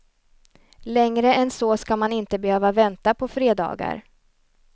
Längre än så ska man inte behöva vänta på fredagar.